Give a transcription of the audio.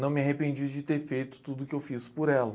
Não me arrependi de ter feito tudo que eu fiz por ela.